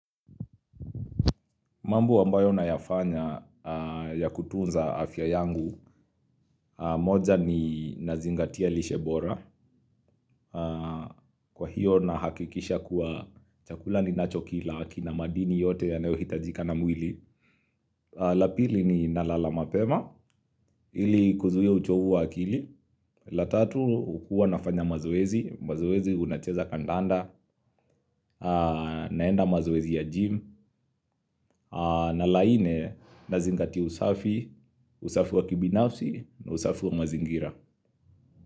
Mambo ambayo na yafanya ya kutunza afya yangu, moja ni nazingatia lishe bora, kwa hiyo nahakikisha kuwa chakula ni nacho kila, kina madini yote yanayohitajika na mwili. La pili ni nalala mapema, ili kuzuia uchovu wa akili, la tatu hukuwa nafanya mazoezi, mazoezi unacheza kandanda, naenda mazoezi ya gym, na la nne na zingatia usafi, usafi wa kibinafsi na usafi wa mazingira.